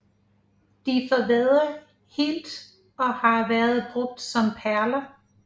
De forvedder helt og har været brugt som perler